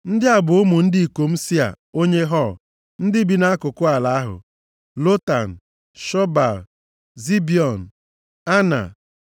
Ndị a bụ ụmụ ndị ikom Sia onye Hor, ndị bi nʼakụkụ ala ahụ: Lotan, Shobal, Zibiọn, Ana,